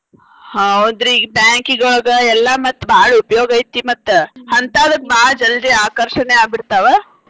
ಹೌದ್ರಿ ಈಗ bank ಗ್ ಹೋಗ್ವಾಗ ಎಲ್ಲಾ ಮತ್ತ್ ಬಾಳ್ ಉಪಯೋಗ ಐತಿ ಮತ್ತ ಹಂತಾವಕ್ಕ್ ಭಾಳ್ ಜಲ್ದಿ ಆಕರ್ಷಣೆ ಆಗಿ ಬಿಡ್ತಾವ.